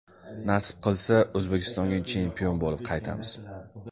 Nasib qilsa, O‘zbekistonga chempion bo‘lib qaytamiz.